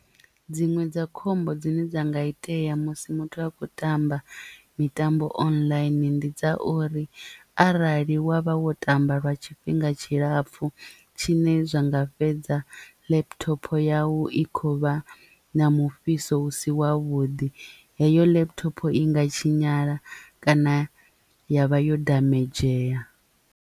Dziṅwe dza khombo dzine dza nga itea musi muthu a khou tamba mitambo online ndi dza uri arali wa vha wo tamba lwa tshifhinga tshilapfhu tshine zwa nga nga fhedza laptop yau i kho vha na mufhiso u si wavhuḓi heyo laptopo i nga tshinyala kana ya vha yo damagea.